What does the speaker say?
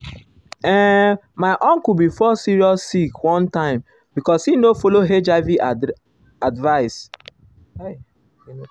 ehn my uncle bin fall serious sick one time because e no follow hiv advice.